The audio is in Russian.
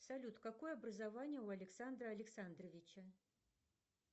салют какое образование у александра александровича